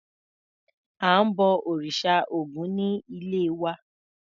À ń bọ òrìṣà Ògún ní ilé wa.